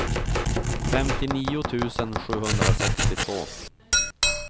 femtionio tusen sjuhundrasextiotvå